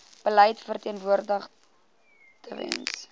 beleid verteenwoordig tewens